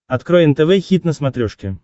открой нтв хит на смотрешке